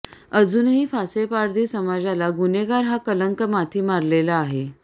अजूनही फासेपारधी समाजाला गुन्हेगार हा कलंक माथी मारलेला आहे